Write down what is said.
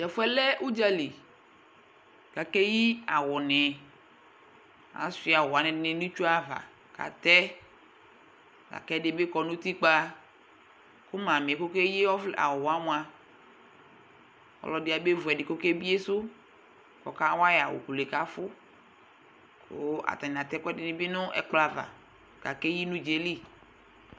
tɛƒʋɛlɛ ʋdzali kakeyi awʋnii kashʋa awʋɛdini nʋ itsʋava katɛ lakɛdibi kɔ nutikpaa kʋ mami kɔkeyi awʋwamʋa ɔlʋɛdi yabaevʋ ɛdi kɔke biesʋ kʋɔka wayi awʋ kʋlʋyɛ kafʋ kʋ atani atɛ ɛkʋɛdinibi nʋ ɛkplɔava kakeyi nʋ dzaeli